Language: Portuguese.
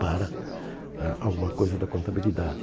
para ah alguma coisa da contabilidade.